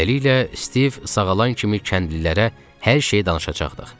Beləliklə, Stiv sağalan kimi kəndlilərə hər şeyi danışacaqdıq.